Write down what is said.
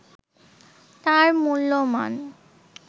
তার মূল্যমান